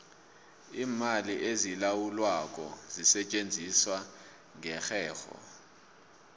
iimali ezilawulwako zisetjenziswa ngerherho